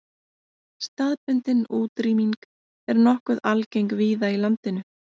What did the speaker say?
Staðbundin útrýming er nokkuð algeng víða í landinu.